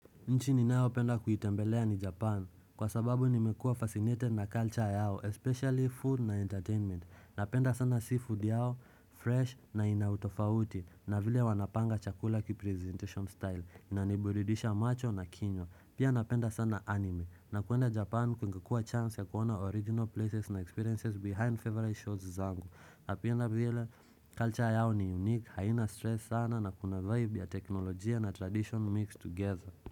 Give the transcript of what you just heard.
Nchi ninaopenda kuitembelea ni japan, kwa sababu nimekua fascinated na culture yao, especially food na entertainment, napenda sana seafood yao, fresh na inautofauti, na vile wanapanga chakula kipresentation style, inaniburidisha macho na kinywa, pia napenda sana anime, na kuenda japan kungekua chance ya kuona original places na experiences behind favorite shows zangu, napenda vile culture yao ni unique, haina stress sana na kuna vibe ya teknolojia na tradition mixed together.